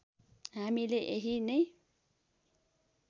हामीले यहीँ नै